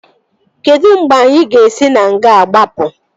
Kedụ mgbe anyị ga-esi na nga a gbapụ?